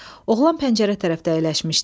Oğlan pəncərə tərəfdə əyləşmişdi.